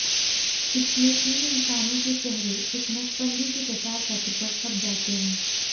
इसमें तीन इंसानों के चेहरे एक नसबंदी के प्रचार पत्र पर छप जाते हैं